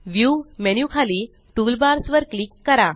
view menu खाली toolbars वर click करा